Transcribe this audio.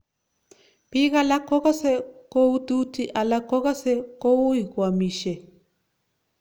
Biik alak kokase koututi alak kokase koui koamisyei